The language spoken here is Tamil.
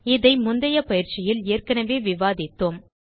இதை முந்தைய பயிற்சியில் ஏற்கெனவே விவாதித்தோம்